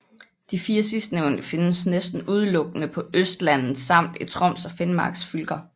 De 4 sidstnævnte findes næsten udelukkende på Østlandet samt i Troms og Finmarks fylker